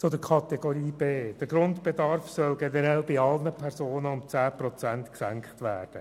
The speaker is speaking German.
Zu Kategorie B: Der Grundbedarf soll generell bei allen Personen um 10 Prozent gesenkt werden.